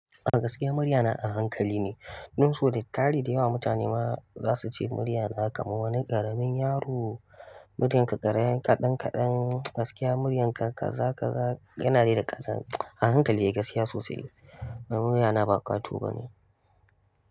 Gaskiya murya na a hankali ne, don so da tari da yawa mutane ma za su ce murya na aka ma wani ƙaramin yaro. Muryarka kaɗan kaɗan, gaskiya muryarka kaza kaza yana rera ƙazanta a hankali gaskiya sosai. Murya na ba ƙwato bane.